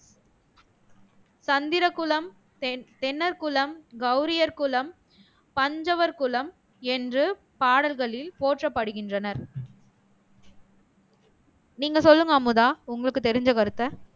தந்திர குலம் தென் தென்னர் குலம் கௌரியர் குலம் பஞ்சவர் குலம் என்று பாடல்களில் போற்றப்படுகின்றனர் நீங்க சொல்லுங்க அமுதா உங்களுக்கு தெரிஞ்ச கருத்தை